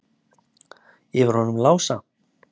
Yfir honum Lása?